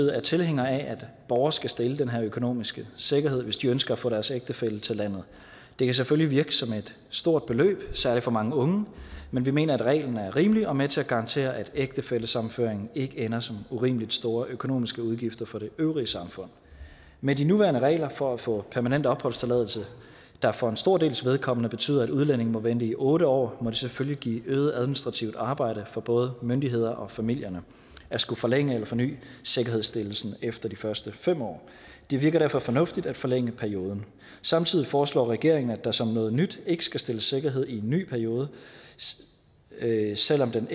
er tilhængere af at borgere skal stille den her økonomiske sikkerhed hvis de ønsker at få deres ægtefælle til landet det kan selvfølgelig virke som et stort beløb særlig for mange unge men vi mener at reglen er rimelig og er med til at garantere at ægtefællesammenføring ikke ender som urimeligt store økonomiske udgifter for det øvrige samfund med de nuværende regler for at få permanent opholdstilladelse der for en stor dels vedkommende betyder at udlændingen må vente i otte år må det selvfølgelig give øget administrativt arbejde for både myndighederne og familierne at skulle forlænge eller forny sikkerhedsstillelsen efter de første fem år det virker derfor fornuftigt at forlænge perioden samtidig foreslår regeringen at der som noget nyt ikke skal stilles sikkerhed i en ny periode selv om den